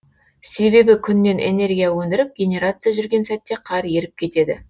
себебі күннен энергия өңдіріп генерация жүрген сәтте қар еріп кетеді